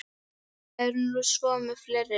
Það er nú svo með fleiri.